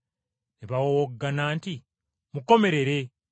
Ne bawowoggana nti, “Mukomerere!”